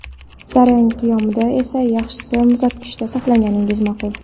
Zarang qiyomini esa yaxshisi muzlatgichda saqlaganingiz ma’qul.